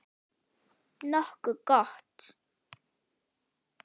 Nokkuð gott.